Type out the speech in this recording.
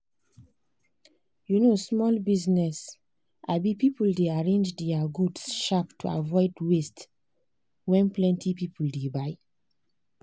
um small business um people dey arrange their goods sharp to avoid waste when plenty people dey buy.